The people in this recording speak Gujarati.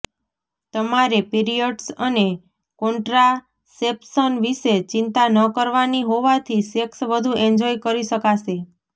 તમારે પિરિયડ્સ અને કોન્ટ્રાસેપ્શન વિશે ચિંતા ન કરવાની હોવાથી સેક્સ વધુ એન્જોય કરી શકાશે